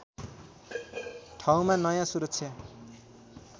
ठाउँमा नयाँ सुरक्षा